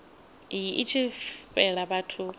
iyi i tshi fhela vhathu